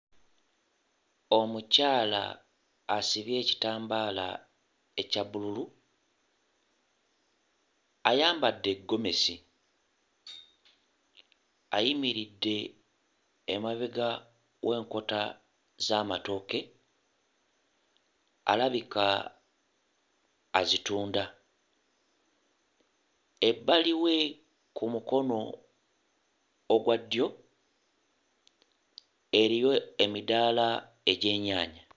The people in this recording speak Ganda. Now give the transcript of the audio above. Omukyala asibye ekitambaala ekya bbululu, ayambadde ggomesi ayimiridde emabega w'enkota z'amatooke alabika azitunda. Ebbali we ku mukono ogwa ddyo eriyo emidaala egy'ennyaanya.